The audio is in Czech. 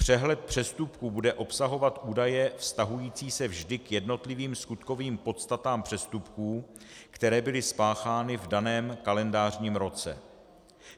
Přehled přestupků bude obsahovat údaje vztahující se vždy k jednotlivým skutkovým podstatám přestupků, které byly spáchány v daném kalendářním roce.